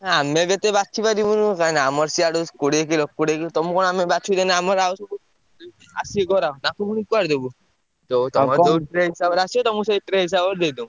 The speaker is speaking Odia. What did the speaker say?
ଆମେ କେତେ ବାଛିପାରିବୁନୁ କାହିଁକିନା ଆମର ସିଆଡୁ କୋଡିଏ କିଲୋ କୋଡିଏ କିଲୋ ତମୁକୁ କଣ ଆମେ ବାଛିକି ଦେଲେ ଆମର ଆଉ ସବୁ ଆସିବେ ନା ଗରାଖ ତାଙ୍କୁ ପୁଣି କୁଆଡେ ଦବୁ? ଯୋଉ ତମ ଯୋଉ ହିସାବରେ ଆସିବ ତମୁକୁ ସେଇ ହିସାବରେ ଦେଇଦବୁ।